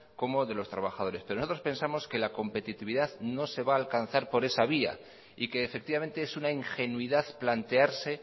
como de los trabajadores pero nosotros pensamos que la competitividad no se va a alcanzar por esa vía y que efectivamente es una ingenuidad plantearse